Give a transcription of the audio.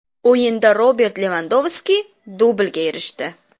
O‘yinda Robert Levandovski dublga erishdi.